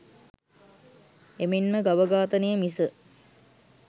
එමෙන්ම ගව ඝාතනය මිස